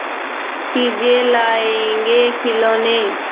चीजें लाएँगेखिलौने